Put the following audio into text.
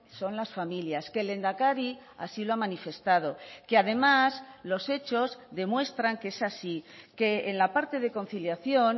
son las familias que el lehendakari así lo ha manifestado que además los hechos demuestran que es así que en la parte de conciliación